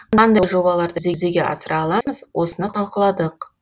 қандай жобаларды жүзеге асыра аламыз осыны талқыладық